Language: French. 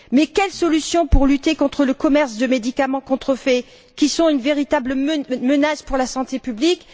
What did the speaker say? Quelle est la solution pour lutter contre le commerce de médicaments contrefaits, qui sont une véritable menace pour la santé publique?